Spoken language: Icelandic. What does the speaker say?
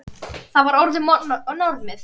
Þetta var orðið normið.